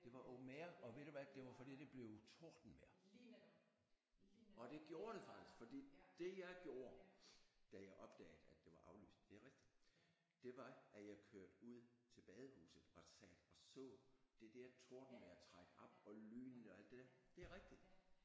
Det var open air og ved du hvad det var fordi det blev tordenvejr og det gjorde det faktisk fordi det jeg gjorde da jeg opdagede at det var aflyst det er rigtigt det var at jeg kørte ud til badehuset og satte og så det der tordenvejr trække op og lynene og alt det der det er rigtigt